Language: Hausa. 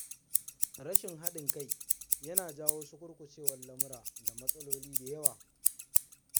Rashin haɗin kai yana jawo sukurkucewar lamura da matsaloli da yawa.